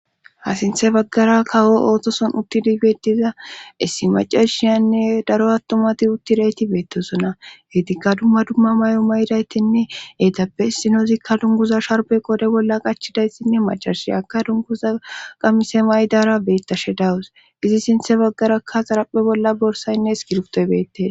Ha sinthe baggara kawo ootoson uttidigetiza issi macarshiyaynne daro attomati uttidayti beettesona heetikka dumma dumma may'o may'daytinne heetappe sinozikka dunguza sharbe qode bolla qachidaytinne macarshi aka dunkuza qamise maydara beettashe dawus izi sinthe baggarakka xarappe bolla borsaynne es giruftoy beettee.